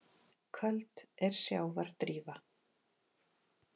Köld er sjávar drífa.